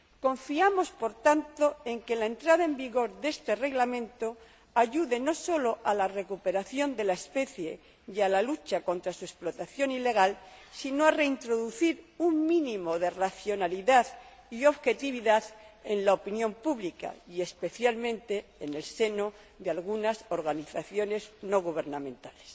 Confiamos, por tanto, en que la entrada en vigor de este Reglamento ayude no sólo a la recuperación de la especie y a la lucha contra su explotación ilegal, sino también a reintroducir un mínimo de racionalidad y objetividad en la opinión pública y, especialmente, en el seno de algunas organizaciones no gubernamentales.